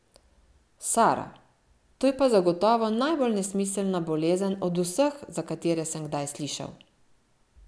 Sara, to je pa zagotovo najbolj nesmiselna bolezen, od vseh, za katere sem kdaj slišal.